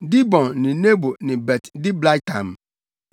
Dibon ne Nebo ne Bet-Diblataim